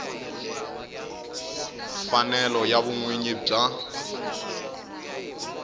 mfanelo ya vun winyi bya